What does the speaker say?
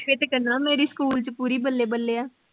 ਫਿਰ ਤੇ ਕਹਿੰਦਾ ਮੇਰੀ school ਚ ਬੱਲੇ ਬੱਲੇ ਆ।